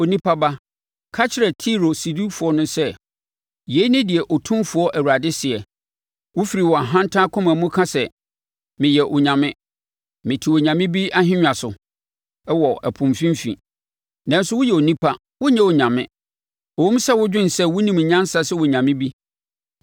“Onipa ba, ka kyerɛ Tiro sodifoɔ no sɛ: ‘Yei ne deɛ Otumfoɔ Awurade seɛ: “ ‘Wofiri wʼahantan akoma mu ka sɛ, “Meyɛ onyame; mete onyame bi ahennwa so wɔ ɛpo mfimfini.” Nanso woyɛ onipa, wonyɛ onyame, ɛwom, wodwene sɛ wonim nyansa sɛ onyame bi.